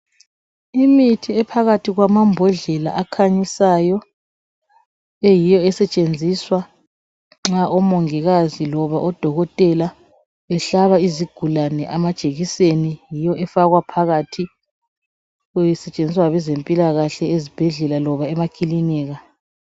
Imithi ephakathi kwamambodlela akhanyisayo eyiyo esetshenziswa nxa omongikazi loba odokotela behlaba izigulani amajekiseni yiyo efakwa phakathi isetshenziswa ngabezempilakahle ezibhedlela loba emakilinika.